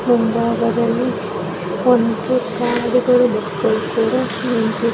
ಮುಂಭಾಗದಲ್ಲಿ ಕಾರುಗಳು ಬಸ್ಸುಗಳು ಕೂಡ ನಿಂತಿ --